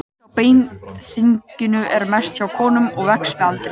Hætta á beinþynningu er mest hjá konum og vex með aldri.